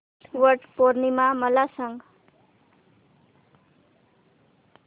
वट पौर्णिमा मला सांग